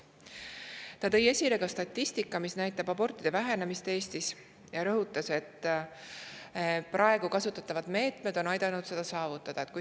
Ta ka statistikale, mis näitab abortide vähenemist Eestis, ning rõhutas, et praegu kasutatavad meetmed on aidanud seda saavutada.